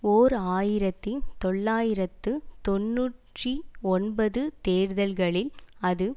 ஓர் ஆயிரத்தி தொள்ளாயிரத்து தொன்னூற்றி ஒன்பது தேர்தல்களில் அது